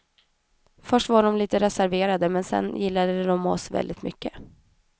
Först var de litet reserverade, men sedan gillade de oss väldigt mycket.